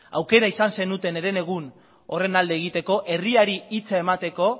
aukera izan zenuten herenegun horren alde egiteko herriari hitza emateko